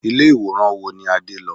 Ilé ìwòran wo ni Adé lọ?